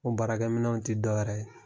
Ko baraminɛnw tɛ dɔwɛrɛ ye